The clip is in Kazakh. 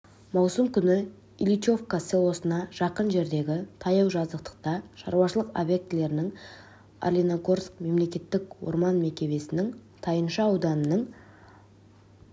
маусым күні ильичовка селосына жақын жердегі таяу жазықтықта шаруашылық обьектілерінің орлиногорск мемлекеттік орман мекемесінің тайынша ауданының